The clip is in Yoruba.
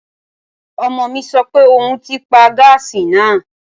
Ọmọ mi sọ pé òun ti paa gáàsì náà